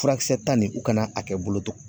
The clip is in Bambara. Furakisɛta nin u kana a kɛ boloto